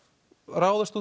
ráðast